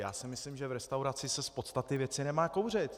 Já si myslím, že v restauraci se z podstaty věci nemá kouřit.